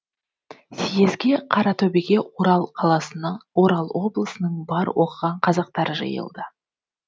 съезге қаратөбеге орал облысының бар оқыған қазақтары жиылды